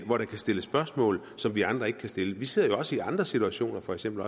hvor der kan stilles spørgsmål som vi andre ikke kan stille vi sidder jo også i andre situationer for eksempel